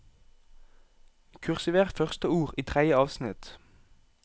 Kursiver første ord i tredje avsnitt